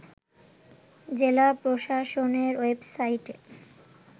জেলা প্রশাসনের ওয়েবসাইটে